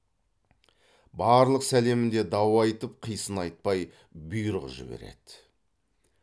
барлық сәлемінде дау айтып қисын айтпай бұйрық жібереді